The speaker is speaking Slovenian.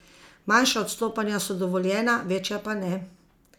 Manjša odstopanja so dovoljena, večja pač ne.